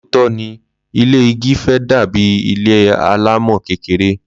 Lootọ ni, ile igi fe dàbí ilé alámò kékeré